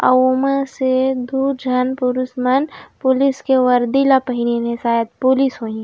ओमा से दु झन पुरष मन पुलिस के वर्दी ला पहनलिस शायद पुलिस म हे।